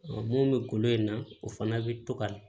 mun bɛ kolo in na o fana bɛ to ka